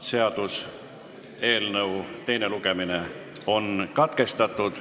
Seaduseelnõu teine lugemine on katkestatud.